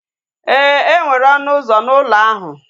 Éè, enwere ọnụ ụzọ na ụlọ ahu